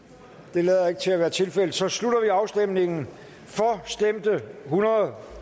det lader ikke til at være tilfældet så slutter vi afstemningen for stemte hundrede